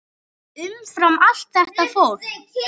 Umfram allt þetta fólk.